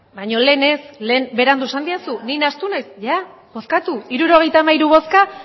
baino lehen ez lehen berandu esan didazu ni nahastu naiz ia bozkatu hirurogeita hamairu bozka